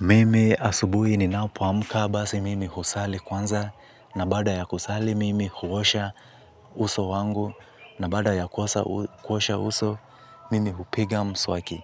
Mimi asubuhi ninapo amka basi, mimi husali kwanza na baada ya kusali mimi huosha uso wangu na baada ya kuosha uso mimi hupiga mswaki,